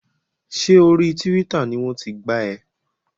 Ṣé orí Tíwítà ni wọ́n ti gbá ẹ?